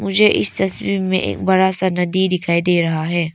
मुझे इस तस्वीर में एक बड़ा सा नदी दिखाई दे रहा है।